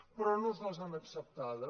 però no ens les han acceptades